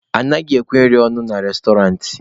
Anaghịkwa ekwe nri ọnụ na restọrantị.